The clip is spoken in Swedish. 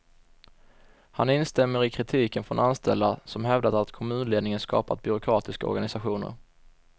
Han instämmer i kritiken från anställda, som hävdat att kommunledningen skapat byråkratiska organisationer.